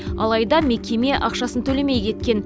алайда мекеме ақшасын төлемей кеткен